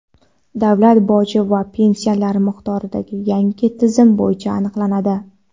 davlat boji va pensiyalar miqdori yangi tizim bo‘yicha aniqlanadi.